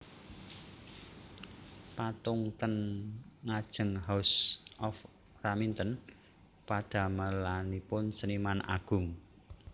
Patung ten ngajengHouse of Raminten padamelanipun seniman agung